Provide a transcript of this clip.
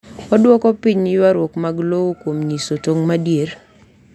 Odwoko piny ywarruok mag lowo kuom nyiso tong’ madier.